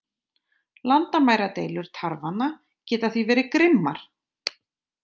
Landamæradeilur tarfanna geta því verið grimmar.